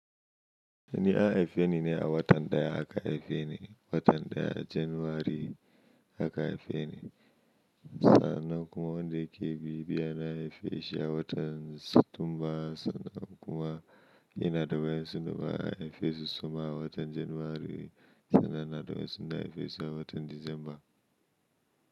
Yini a haife ni ne a watan ɗaya aka haife ni, watan ɗaya Janairu aka haife ni. Sannan kuma wanda yake biy biyana anhaife shi a watan Satumba sannan kuma ina da wanda ya haife shi Suma a watan Janwary sannan ina da wa'endu na haife shi a watan Disamba.